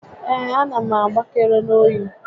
Ee, a na m agbakere n'oyi